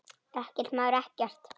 Ekkert, maður, ekkert.